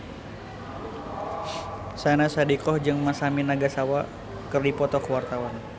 Syahnaz Sadiqah jeung Masami Nagasawa keur dipoto ku wartawan